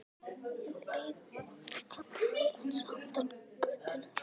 Um leið var kallað til hans handan götunnar.